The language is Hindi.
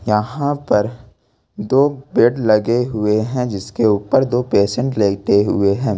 यहां पर दो बेड लगे हुए हैं जिसके ऊपर दो पेशेंट लेटे हुए हैं।